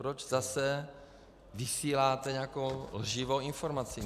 Proč zase vysíláte nějakou lživou informaci?